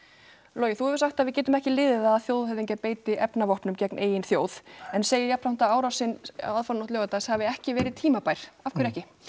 logi þú hefur sagt að við getum ekki liðið að þjóðhöfðingjar beiti efnavopnum gegn eigin þjóð en segir jafnframt að árásin aðfararnótt laugardags hafi ekki verið tímabær af hverju ekki